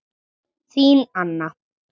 Þín Anna.